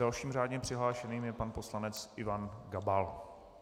Dalším řádně přihlášeným je pan poslanec Ivan Gabal.